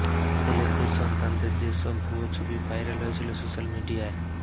সেলেবদের সন্তানদের যে সব ভুয়ো ছবি ভাইরাল হয়েছিল সোশ্যাল মিডিয়ায়